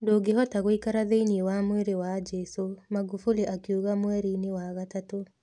Ndũngĩhota gũikara thĩinĩ wa mwĩrĩ wa Jesũ,' Magufuli akiuga mweri-inĩ wa Gatatũ.